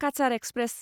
Cachar express